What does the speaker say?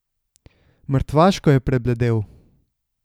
Mrtvaško je prebledel.